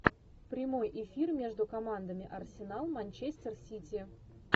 прямой эфир между командами арсенал манчестер сити